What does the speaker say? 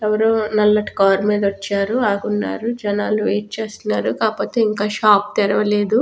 ఎవ్వరో నల్లటి కార్ మీద వచ్చారు ఆగున్నారు జన్నాలు వైటు చేస్తున్నారు కాకపోతే ఇంకా షాప్ తెరవలేదు .